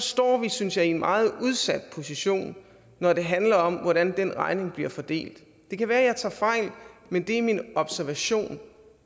står vi synes jeg i en meget udsat position når det handler om hvordan den regning bliver fordelt det kan være jeg tager fejl men det er min observation